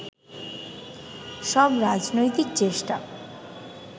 সব রাজনৈতিক চেষ্টা